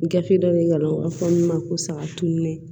Gafe dɔ de nana fɔ ne ma ko saga tununen